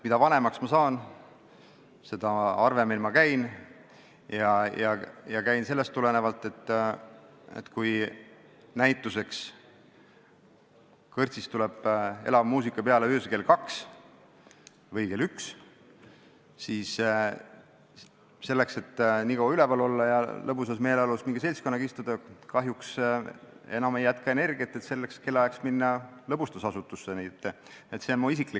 Mida vanemaks ma saan, seda harvemini ma baaris käin, ja seda sellest tulenevalt, et kui kõrtsis algab elav muusika peale öösel kell kaks või kell üks, siis selleks, et nii kaua üleval olla ja lõbusas meeleolus mingi seltskonnaga seal istuda või selleks kellaajaks lõbustusasutusse minna, kahjuks ei jätku enam energiat.